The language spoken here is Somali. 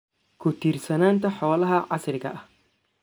ku tiirsanaanta xoolaha casriga ah.